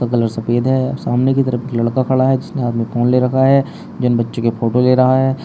Colour सफेद है सामने की तरफ एक लड़का खड़ा है जिसने हाथ में फोन ले रखा है जिन बच्चे के फोटो ले रहा है।